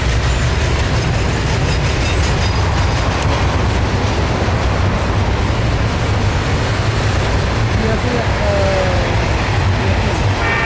রিয়াকেই একটা রিয়াকেই বলো